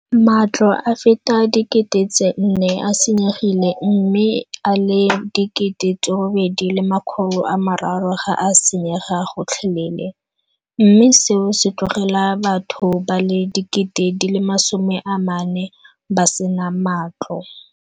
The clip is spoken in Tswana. Matlo a feta 4 000 a senyegile mme a le 8 300 ga a senyega gotlhelele, mme seo se tlogela batho ba le 40 000 ba sena matlo.